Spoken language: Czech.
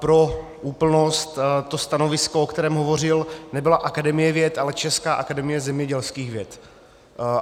Pro úplnost, to stanovisko, o kterém hovořil, nebyla Akademie věd, ale Česká akademie zemědělských věd.